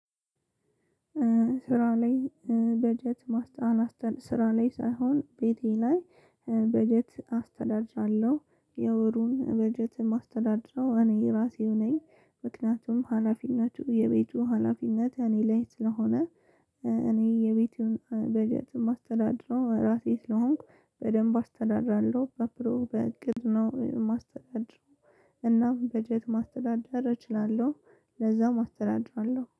ስራ ላይ በጀት ማስተ ስራ ላይ ሳይሆን ቤቴ ላይ በጀት አስተዳድራለሁ የወሩን በጀት የማስተዳድረው እኔ ራሴው ነኝ ምክንያቱም ሀላፊነቱ የቤቱ ሀላፊነት እኔ ላይ ስለሆነ። እኔ የቤቱን በጀት የማስተዳድረው ራሴ ስለሆንኩ በደንብ አስተዳድራለሁ በፕሮ በእቅድ ነው የማስተዳድረው። እናም በጀት ማስተዳደር እችላለሁ። ለዛም አስተዳድራለሁ